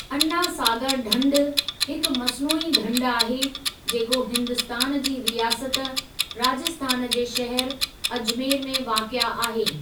अना सागर ढंढ हिकु मस्नूई ढंढ आहे जेको हिन्दुस्तान जी रियासत राजस्थान जे शहर अजमेर में वाक़िए आहे।